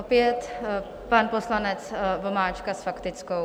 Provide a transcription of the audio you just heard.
Opět pan poslanec Vomáčka s faktickou.